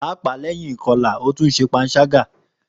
Paapaa lẹhin ikọla, o tun jẹ panṣaga.